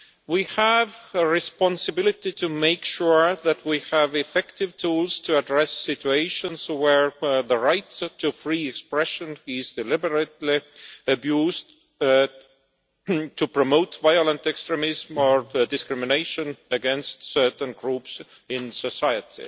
We have a responsibility to make sure that we have effective tools to address situations where the right to free expression is deliberately abused to promote violent extremism or discrimination against certain groups in society.